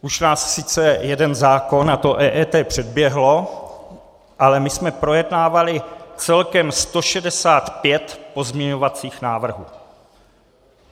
Už nás sice jeden zákon, a to EET, předběhl, ale my jsme projednávali celkem 165 pozměňovacích návrhů.